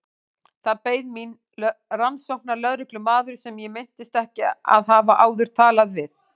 Þar beið mín rannsóknarlögreglumaður sem ég minntist ekki að hafa áður talað við.